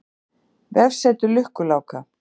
Vefsetur Lukku-Láka.